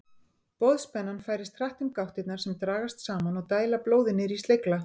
Boðspennan færist hratt um gáttirnar sem dragast saman og dæla blóði niður í slegla.